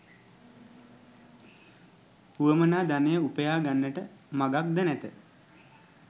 වුවමනා ධනය උපයා ගන්නට මගක් ද නැත.